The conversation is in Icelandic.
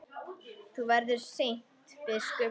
Þú verður seint biskup!